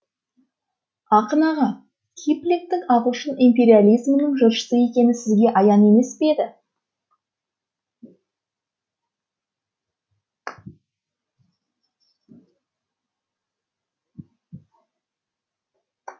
ақын аға киплингтің ағылшын империализмінің жыршысы екені сізге аян емес пе еді